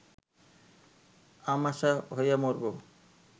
আমাশা হইয়া মরব